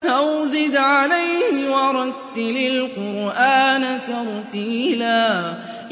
أَوْ زِدْ عَلَيْهِ وَرَتِّلِ الْقُرْآنَ تَرْتِيلًا